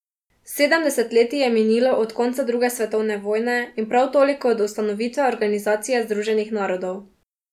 Sedem desetletij je minilo od konca druge svetovne vojne in prav toliko od ustanovitve Organizacije združenih narodov.